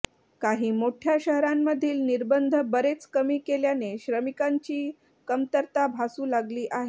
काही मोठ्या शहरांमधील निर्बंध बरेच कमी केल्याने श्रमिकांची कमतरता भासू लागली आहे